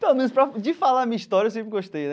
Pelo menos para, de falar a minha história, eu sempre gostei né.